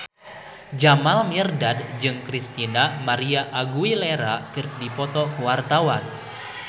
Jamal Mirdad jeung Christina María Aguilera keur dipoto ku wartawan